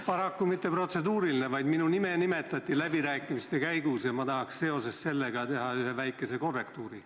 Paraku mitte protseduuriline, aga kuna minu nime nimetati läbirääkimiste käigus, siis tahaks ma seoses sellega teha ühe väikese korrektuuri.